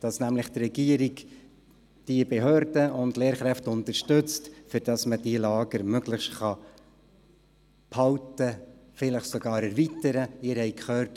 damit unterstützt die Regierung nämlich die Behörden und Lehrkräfte, sodass diese Lager möglichst beibehalten, vielleicht sogar erweitert werden können.